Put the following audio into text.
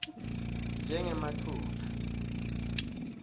njengematuna